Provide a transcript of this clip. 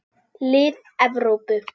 Lið Evrópu.